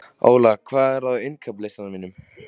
Óla, hvað er á innkaupalistanum mínum?